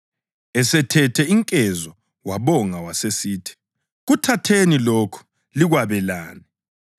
Esethethe inkezo wabonga wasesithi, “Kuthatheni lokhu likwabelane.